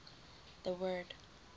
the word